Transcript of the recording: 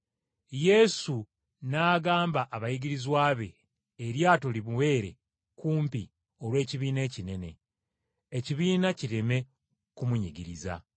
Yesu n’agamba abayigirizwa be eryato limubeere kumpi olw’ekibiina ekinene, ekibiina kireme kumunyigiriza.